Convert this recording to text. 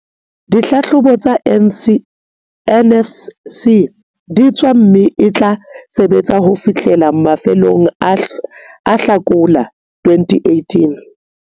dihlahlobo tsa NSC di tswa mme e tla sebetsa ho fihlela mafelong a Hlakola 2018.